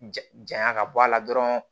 Jaya ka bɔ a la dɔrɔn